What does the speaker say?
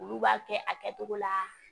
Olu b'a kɛ a kɛtogo la